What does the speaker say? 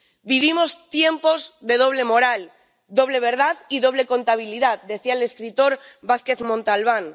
Vivimos tiempos de doble moral, doble verdad y doble contabilidad, decía el escritor Vázquez Montalbán.